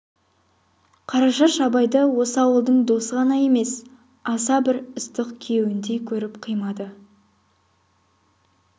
қарашаш абайды осы ауылдың досы ғана емес аса бір ыстық күйеуіндей көріп қимады